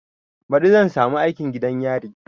Baɗi zan samu aikin gidan yari